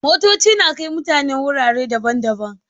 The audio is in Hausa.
Motoci na kai mutane wurare daban-daban.